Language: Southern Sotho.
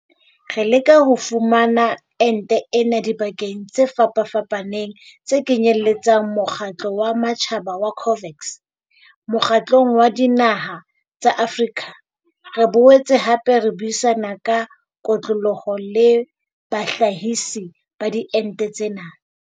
Re leka ho fumana ente ena dibakeng tse fapafapaneng tse kenyeletsang mokgatlo wa matjhaba wa COVAX, Mokgatlong wa Dinaha tsa Afrika re boetse hape re buisana ka kotloloho le bahlahisi ba diente tsena.